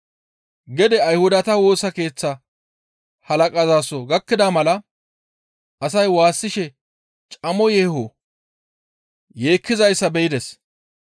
Gede Ayhudata Woosa Keeththa halaqazaso gakkida mala asay waassishe camo yeeho yeekkizayssa be7ides.